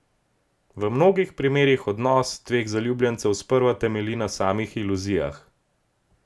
V mnogih primerih odnos dveh zaljubljencev sprva temelji na samih iluzijah.